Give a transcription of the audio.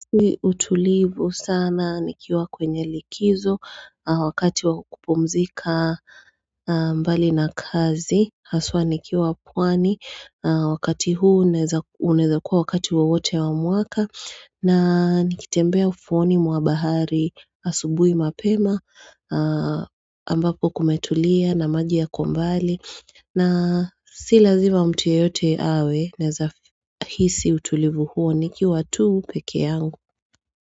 Si utulivu sana nikiwa kwenye likizo wakati wakupumzika mbali na kazi haswa nikiwa pwani wakati huu uneza kuwa wakati huo wote wa mwaka na nikitembea ufuoni mwa bahari asubui mapema ambapo kumetulia na maji yakombali na si lazima mtu yeyote awe neza hisi utulivu huo nikiwa tuu peke yangu.